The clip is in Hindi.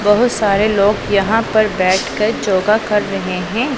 बहुत सारे लोग यहां पर बैठकर जोगा कर रहे हैं।